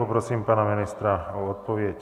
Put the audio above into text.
Poprosím pana ministra o odpověď.